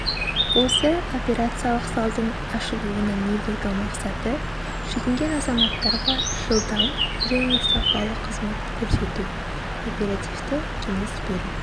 осы операциялық залдың ашылуының негізгі мақсаты жүгінген азаматтарға жылдам және сапалы қызмет көрсету оперативті кеңес беру